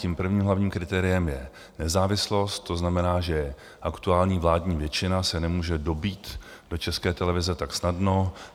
Tím prvním hlavním kritériem je nezávislost, to znamená, že aktuální vládní většina se nemůže dobýt do České televize tak snadno.